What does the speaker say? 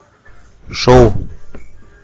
шоу